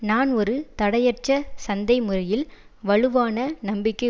நான் ஒரு தடையற்ற சந்தை முறையில் வலுவான நம்பிக்கை